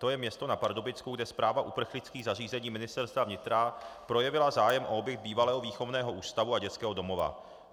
To je město na Pardubicku, kde správa uprchlických zařízení Ministerstva vnitra projevila zájem o objekt bývalého výchovného ústavu a dětského domova.